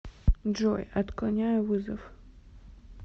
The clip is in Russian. джой отклоняю вызов